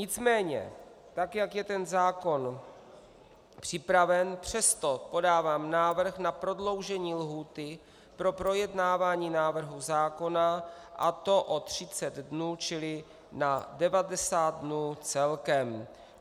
Nicméně tak jak je ten zákon připraven, přesto podávám návrh na prodloužení lhůty pro projednávání návrhu zákona, a to o 30 dnů, čili na 90 dnů celkem.